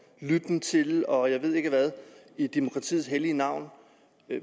lytten til og jeg ved ikke hvad i demokratiets hellige navn